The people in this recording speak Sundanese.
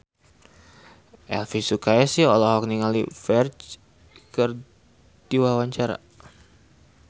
Elvi Sukaesih olohok ningali Ferdge keur diwawancara